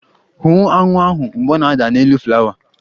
Hụ aṅụ ahụ mgbe ọ na-ada n'elu flawa!